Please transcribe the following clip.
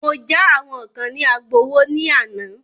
Mọ já àwọn kán ní Agbowó ní àná.